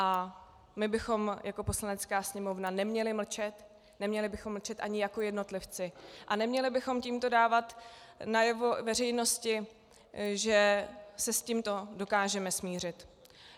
A my bychom jako Poslanecká sněmovna neměli mlčet, neměli bychom mlčet ani jako jednotlivci a neměli bychom tímto dávat najevo veřejnosti, že se s tímto dokážeme smířit.